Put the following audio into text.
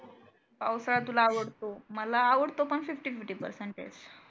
पावसाळा तुला आवडतो मला आवडतो पण fifty fifty percentage